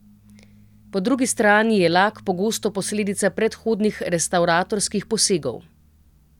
Po drugi strani je lak pogosto posledica predhodnih restavratorskih posegov.